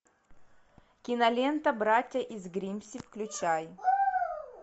кинолента братья из гримсби включай